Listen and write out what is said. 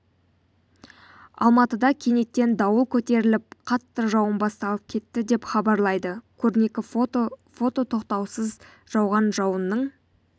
алматыда кенеттен дауыл көтеріліп қатты жауын басталып кетті деп хабарлайды көрнекі фото фото тоқтаусыз жауған жауынның